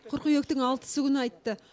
қыркүйектің алтысы күні айтты